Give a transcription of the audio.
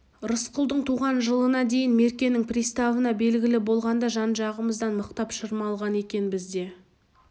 рысқұлдың туған жылына дейін меркенің приставына белгілі болғанда жан-жағымыздан мықтап шырмалған екенбіз де